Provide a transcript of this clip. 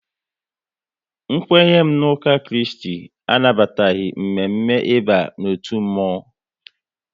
N kwenye m n'uka Kristi anabataghị mme mme ịba n'otu mmonwu